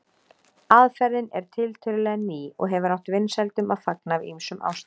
Aðferðin er tiltölulega ný og hefur átt vinsældum að fagna af ýmsum ástæðum.